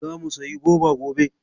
Zamu sayi goba gobe.